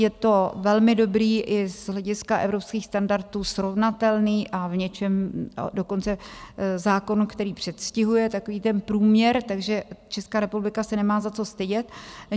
Je to velmi dobrý, i z hlediska evropských standardů srovnatelný, a v něčem dokonce zákon, který předstihuje takový ten průměr, takže Česká republika se nemá za co stydět.